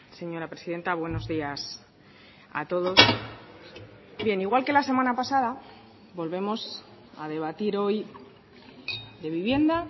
señora presidenta buenos días a todos bien igual que la semana pasada volvemos a debatir hoy de vivienda